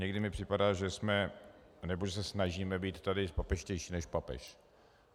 Někdy mi připadá, že se snažíme být tady papežštější než papež.